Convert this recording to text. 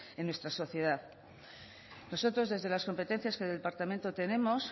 en nuestra sociedad nosotros desde las competencias que el departamento tenemos